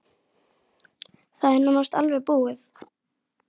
Það er nánast alveg búið.